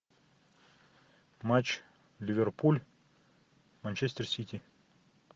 матч ливерпуль манчестер сити